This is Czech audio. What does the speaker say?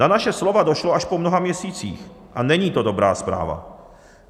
Na naše slova došlo až po mnoha měsících a není to dobrá zpráva.